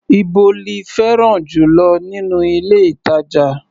Íbo lí fẹ́ràn jù lọ nínú ilé-ìtàjà?